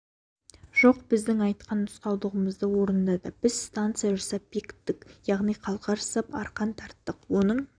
жоқ біздің айтқан нұсқауларымызды орындады біз станция жасап бекіттік яғни қалқа жасап арқан тарттық оның